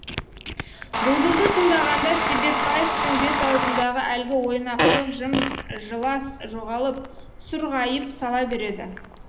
бұлбұлды тыңдағанда себепбаевтың бет аузындағы әлгі ойнақылық жым жылас жоғалып сұр ғайып сала береді